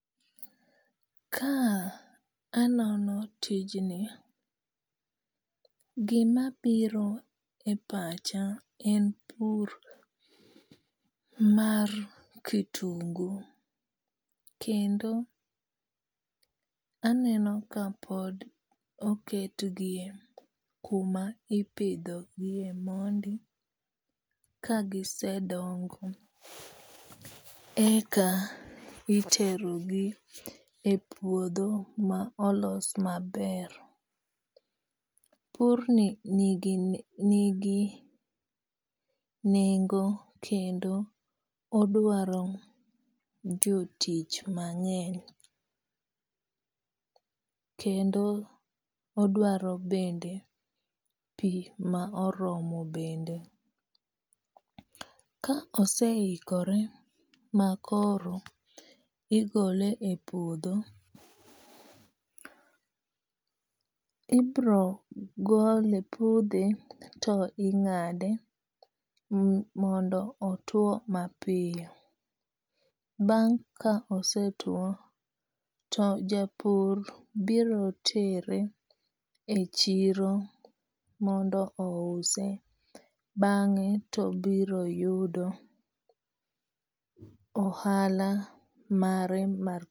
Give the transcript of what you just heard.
Ka anono tijni, gimabiro e pacha en pur mar kitungu, kendo aneno kapod oketgi kuma ipidho gie mondi kagisedongo, eka iterogi e puodho ma olos maber. Purni nigi nengo kendo odwaro jotich mang'eny kendo odwaro bende pi ma oromo bende. Ka oseikore makoro igole e puodho, ibro pudhe to ing'ade mondo otuwo mapiyo. Bang' ka osetuwo to japur biro tere e chiro mondo ouse, bang'e to obiro yudo ohala mare mar